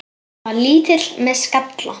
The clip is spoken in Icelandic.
Hann var lítill með skalla.